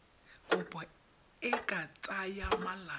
kopo e ka tsaya malatsi